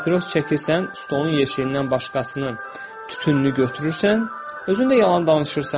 Papiros çəkirsən, stolun yeşiyindən başqasının tütününü götürürsən, özün də yalan danışırsan.